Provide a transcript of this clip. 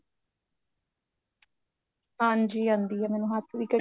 ਹਾਂਜੀ ਆਂਦੀ ਏ ਮੈਨੂੰ ਹੱਥ ਦੀ